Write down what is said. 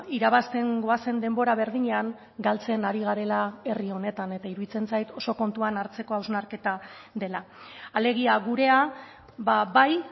irabazten goazen denbora berdinean galtzen ari garela herri honetan eta iruditzen zait oso kontuan hartzeko hausnarketa dela alegia gurea bai